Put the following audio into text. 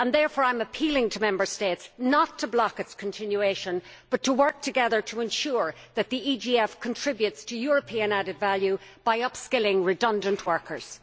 Therefore I am appealing to Member States not to block its continuation but to work together to ensure that the EGF contributes to European added value by upskilling redundant workers.